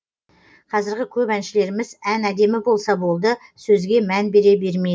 қазіргі көп әншілеріміз ән әдемі болса болды сөзге мән бере бермейді